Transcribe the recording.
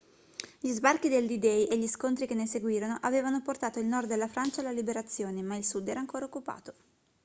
gli sbarchi del d-day e gli scontri che ne seguirono avevano portato il nord della francia alla liberazione ma il sud era ancora occupato